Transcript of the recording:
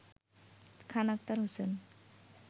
Khan Akhtar Hossain